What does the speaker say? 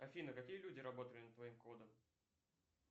афина какие люди работали над твоим кодом